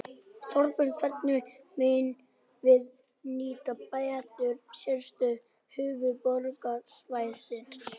Þorbjörn: Hvernig megum við nýta betur sérstöðu höfuðborgarsvæðisins?